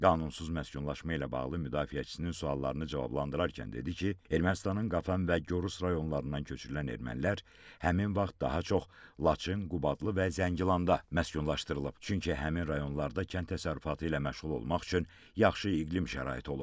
Qanunsuz məskunlaşma ilə bağlı müdafiəçisinin suallarını cavablandırarkən dedi ki, Ermənistanın Qafan və Gorus rayonlarından köçürülən ermənilər həmin vaxt daha çox Laçın, Qubadlı və Zəngilanda məskunlaşdırılıb, çünki həmin rayonlarda kənd təsərrüfatı ilə məşğul olmaq üçün yaxşı iqlim şəraiti olub.